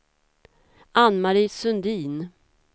Ann-Mari Sundin